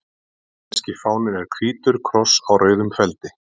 Svissneski fáninn er hvítur kross á rauðum feldi.